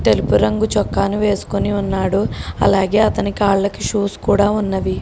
తెలుపు రంగు చొక్కాని వేసుకొని ఉన్నాడు అలాగే అతని కాళ్ళ కి షూస్ కూడా ఉన్నవి.